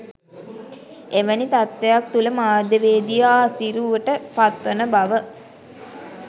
එවැනි තත්ත්වයක් තුළ මාධ්‍යවේදියා අසීරුවට පත්වන බව